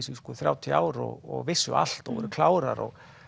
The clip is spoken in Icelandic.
þrjátíu ár og vissu allt og voru klárar